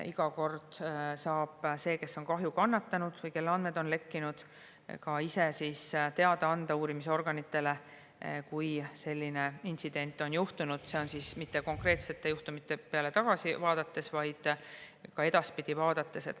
Iga kord saab see, kes on kahju kannatanud või kelle andmed on lekkinud, ka ise uurimisorganitele teada anda, kui selline intsident on juhtunud, see on siis mitte konkreetsete juhtumite peale tagasi vaadates, vaid ka edaspidi vaadates.